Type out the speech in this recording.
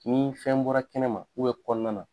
Ni fɛn bɔra kɛnɛma kɔnɔna na,